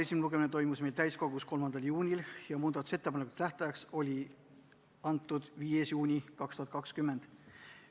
Esimene lugemine toimus meil täiskogus 3. juunil ja muudatusettepanekute esitamise tähtajaks määrati 5. juuni 2020.